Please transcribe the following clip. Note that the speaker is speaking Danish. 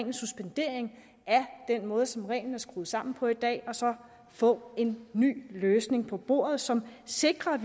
en suspendering af den måde som reglen er skruet sammen på i dag og så får en ny løsning på bordet som sikrer at